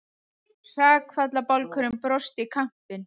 Hrakfallabálkurinn brosti í kampinn.